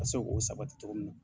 Ka se k'o sabati cogo min na.